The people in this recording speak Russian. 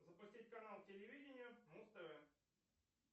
запустить канал телевидения муз тв